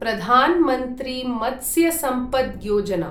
प्रधान् मन्त्री मत्स्य सम्पद् योजना